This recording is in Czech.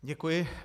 Děkuji.